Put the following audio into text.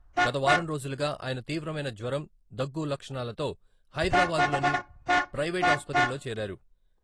గత వారం రోజులుగా ఆయన తీవ్రమైన జ్వరం, దగ్గు లక్షణాలతో హైదరాబాద్‌లోని ప్రయివేటు ఆసుపత్రిలో చేరారు.